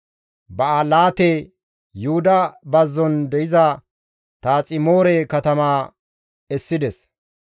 Ba7alaate, Yuhuda Bazzon de7iza Taaximoore katamaa essides;